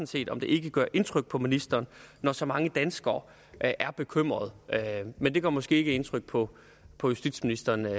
set om det ikke gør indtryk på ministeren at så mange danskere er bekymret men det gør måske ikke indtryk på på justitsministeren